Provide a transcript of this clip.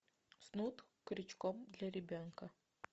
снуд крючком для ребенка